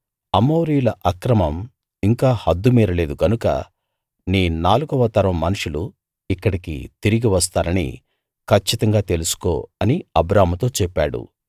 అమోరీయుల అక్రమం ఇంకా హద్డు మీరలేదు గనుక నీ నాలుగవ తరం మనుషులు ఇక్కడికి తిరిగి వస్తారని కచ్చితంగా తెలుసుకో అని అబ్రాముతో చెప్పాడు